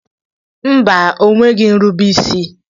Mba, o nweghị nrube isi